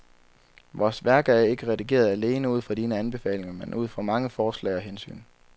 Vores værk er ikke redigeret alene ud fra dine anbefalinger, men ud fra mange forslag og hensyn.